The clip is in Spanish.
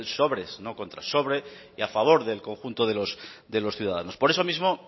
sobres y a favor del conjunto de los ciudadanos por eso mismo